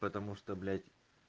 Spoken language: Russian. потому что блять